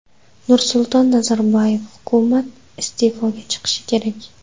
Nursulton Nazarboyev: Hukumat iste’foga chiqishi kerak.